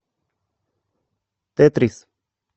тетрис